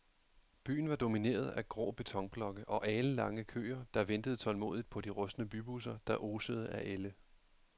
Byen var domineret af grå betonblokke og alenlange køer, der ventede tålmodigt på de rustne bybusser, der osede af ælde.